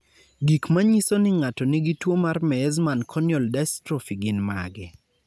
Gik manyiso ni ng'ato nigi tuwo mar Meesmann corneal dystrophy gin mage?